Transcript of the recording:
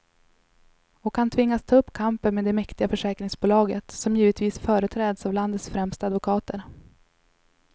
Och han tvingas ta upp kampen med det mäktiga försäkringsbolaget, som givetvis företräds av landets främsta advokater.